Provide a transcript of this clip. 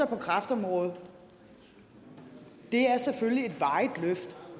på kræftområdet er selvfølgelig